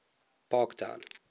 parktown